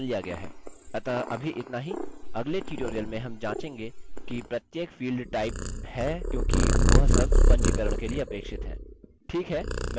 अतः अभी इतना ही अगले ट्यूटोरियल में हम जाँचेंगे कि प्रत्येक फील्ड टाइप है क्योंकि वह सब पंजीकरण के लिए अपेक्षित हैं